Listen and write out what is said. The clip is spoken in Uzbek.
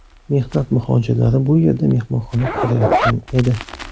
Mehnat muhojirlari bu yerda mehmonxona qurayotgan edi.